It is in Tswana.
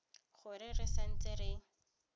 gore re sa ntse re